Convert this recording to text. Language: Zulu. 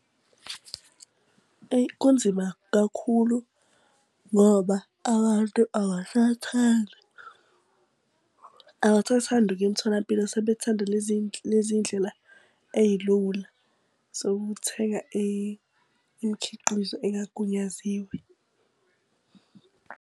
Eyi kunzima kakhulu ngoba abantu abasathandi abasathandi ukuya emtholampilo sebethanda lezi ndlela eyilula. So ukuthenga imikhiqizo engagunyaziwe.